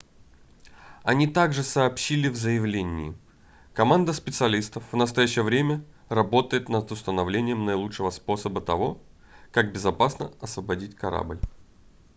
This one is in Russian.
они также сообщили в заявлении команда специалистов в настоящее время работает над установлением наилучшего способа того как безопасно освободить корабль